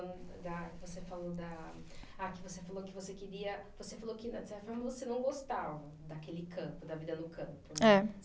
Não, da. Que você falou da, ah que você falou que você queria, que você falou que não gostava daquele campo, da vida no campo, né. É.